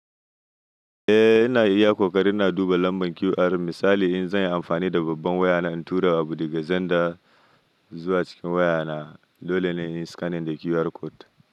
Eh ina iya kokarin ina duba lambar QR misali in zan yi amfani da babban wayana in tura abu daga zanda zuwa cikin wayana dole ne in yi scanning da QR code.